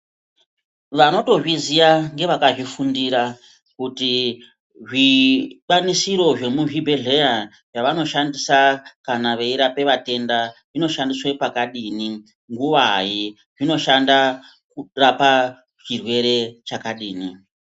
Vanotozviziya ngevakazvifundira kuti zvikwanisiro zvemuzvibhedhlera zvavanoshandisa kana veirape vatenda zvinoshandiswa pakadini, nguwai, zvinoshanda pachirwere chakadini.